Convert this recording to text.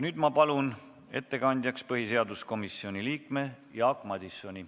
Nüüd ma palun ettekandjaks põhiseaduskomisjoni liikme Jaak Madisoni.